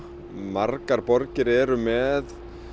margar borgir eru með